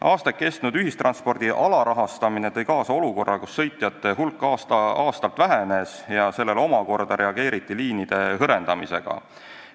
Aastaid kestnud ühistranspordi alarahastamine tõi kaasa olukorra, kus sõitjate hulk aasta-aastalt vähenes, millele omakorda reageeriti liinide hõrendamisega.